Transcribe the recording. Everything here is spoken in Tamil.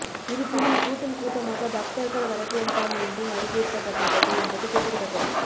இருப்பினும் கூட்டம் கூட்டமாக பக்தர்கள் வரவேண்டாம் என்றும் அறிவுறுத்தப்பட்டுள்ளது என்பது குறிப்பிடத்தக்கது